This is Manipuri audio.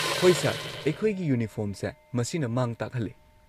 ꯍꯣꯏ ꯁꯔ, ꯑꯩꯈꯣꯏꯒꯤ ꯌꯨꯅꯤꯐꯣꯔꯝꯁꯦ ꯃꯁꯤꯅ ꯃꯥꯡ ꯇꯥꯛꯍꯜꯂꯦ꯫